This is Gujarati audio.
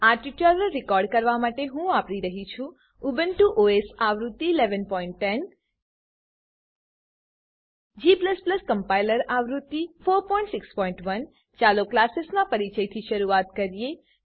આ ટ્યુટોરીયલ રેકોર્ડ કરવા માટે હું વાપરી રહ્યો છું ઉબુન્ટુ ઓએસ આવૃત્તિ 1110 g કમ્પાઈલર આવૃત્તિ 461 ચાલો ક્લાસેસનાં પરીચયથી શરૂઆત કરીએ